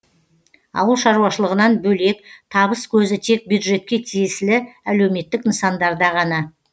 ауыл шаруашылығынан бөлек табыс көзі тек бюджетке тиесілі әлеуметтік нысандарда ғана